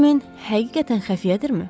Hardmen həqiqətən xəfiyyədirmi?